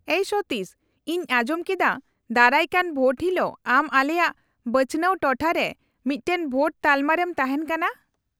-ᱟᱹᱭ ᱥᱚᱛᱤᱥ, ᱤᱧ ᱟᱸᱡᱚᱢ ᱠᱮᱫᱟ ᱫᱟᱨᱟᱭᱠᱟᱱ ᱵᱷᱳᱴ ᱦᱤᱞᱳᱜ ᱟᱢ ᱟᱞᱮᱭᱟᱜ ᱵᱟᱪᱷᱱᱟᱣ ᱴᱚᱴᱷᱟ ᱨᱮ ᱢᱤᱫᱴᱟᱝ ᱵᱷᱳᱴ ᱛᱟᱞᱢᱟ ᱨᱮᱢ ᱛᱟᱦᱮᱱ ᱠᱟᱱᱟ ᱾